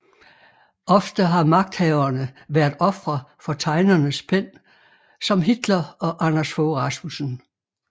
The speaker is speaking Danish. Ofte har magthavere været ofre for tegnernes pen som Hitler og Anders Fogh Rasmussen